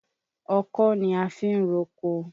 Ọkọ́ ni a fi ń roko.